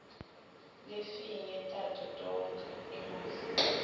lefinye tato tonga imali